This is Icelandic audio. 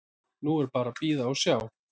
Nú er bara að bíða og sjá.